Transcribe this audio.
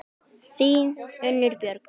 Þín, Unnur Björg.